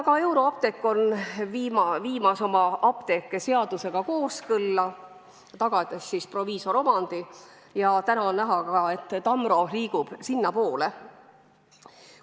Ka Euroapteek on viimas oma apteeke seadusega kooskõlla, tagades proviisoromandi, ja täna on näha, et Tamrogi liigub sinnapoole.